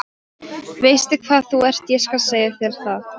Veistu hvað þú ert, ég skal segja þér það.